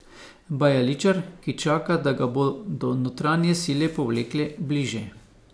Bajaličar, ki čaka, da ga bodo notranje sile povlekle bliže.